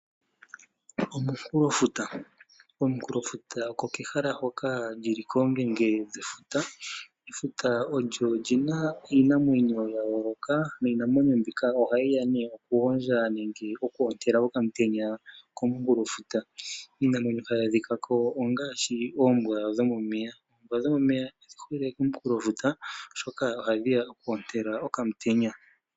Omunkulofuta. Omunkulofuta oko kehala hoka lili koongenge dhefuta . Efuta olina iinamwenyo ya yooloka niinamwenyo mbyoka ohayi ya nee okugondja nenge oku ontela omutenya komunkulofuta. Iinamwenyo ohayi adhikako ongaashi oombwa dhomomeya. Oombwa dhomomeya odhihole komunkulofuta shoka oku ontela okamutenya.